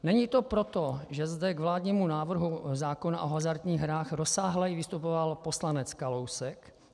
Není to proto, že zde k vládnímu návrhu zákona o hazardních hrách rozsáhleji vystupoval poslanec Kalousek.